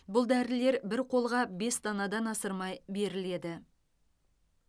бұл дәрілер бір қолға бес данадан асырмай беріледі